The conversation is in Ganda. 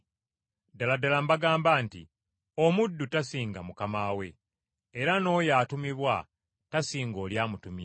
Ddala ddala mbagamba nti, Omuddu tasinga mukama we. Era n’oyo atumibwa tasinga oli amutumye.